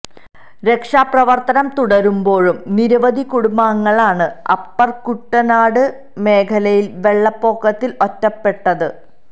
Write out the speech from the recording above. രക്ഷാപ്രവര്ത്തനം തുടരുമ്പോഴും നിരവധി കുടുംബാഗംങ്ങളാണ് അപ്പര് കുട്ടനാട് മേഖലയിലെ വെള്ളപ്പൊക്കത്തില് ഒറ്റപ്പെട്ടത്